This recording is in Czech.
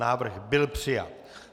Návrh byl přijat.